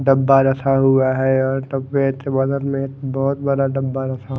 डब्बा रखा हुआ है और डब्बे बदल में एक बहुत बड़ा डब्बा रखा --